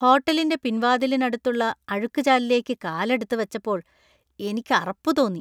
ഹോട്ടലിന്‍റെ പിൻവാതിലിനടുത്തുള്ള അഴുക്കുചാലിലേക്ക് കാലെടുത്തുവച്ചപ്പോൾ എനിക്ക് അറപ്പ് തോന്നി .